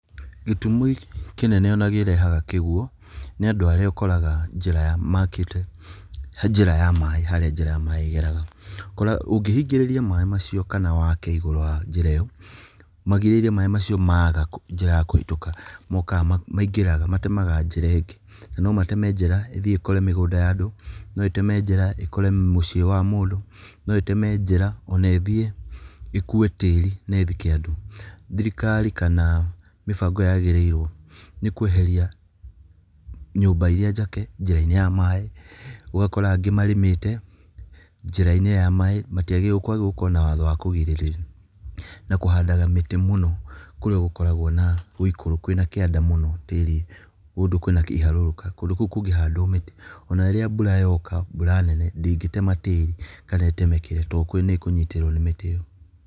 Gĩtũmi kĩnene ona kĩrehaga kĩguũ nĩ andũ arĩa ũkoraga njĩra makĩĩte njĩra ya maaĩ, harĩa njĩra ya maaĩ ĩgeraga. Ũngĩhingĩrĩria maaĩ macio kana waake igũrũ wa njĩra ĩyo, magirĩrĩrie maaĩ macio maaga njĩra ya kũhĩtũka, matemaga njĩra ĩngĩ. Na no mateme njĩra ĩthiĩ ĩkore mĩgũnda ya andũ, no ĩteme njĩra ĩkore muciĩ wa mũndũ. No ĩteme njĩra, ona ĩthiĩ ĩkuue tĩĩri, na ĩthike andũ. Thirikari kana mĩbango ĩrĩa yagĩrĩirwo nĩ kweheria nyũmba iria njake njĩra-inĩ ya maaĩ, ũgakora angĩ marĩmĩte njĩra-inĩ ya maaĩ, nĩ kwagĩrĩire gũkorwo na waatho wa kũgirĩrĩria. Na kũhandaga mĩtĩ mũno kũrĩa gũkoragwo kwĩ na kĩanda mũno tĩĩri kũndũ kwĩna kĩharũrũka. Kũndũ kũu kũngĩhandwo mĩtĩ, ona rĩrĩa mbura yoka, mbura nene ndĩngĩtema tĩĩri, kana ĩteme kĩrĩa tondũ nĩ ĩkũnyitĩrĩrwo ni mĩtĩ ĩyo.